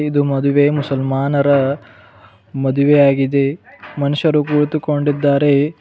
ಇದು ಮದುವೆ ಮುಸಲ್ಮಾನರ ಮದುವೆಯಾಗಿದೆ ಮನುಷ್ಯರು ಕುಳಿತುಕೊಂಡಿದ್ದಾರೆ.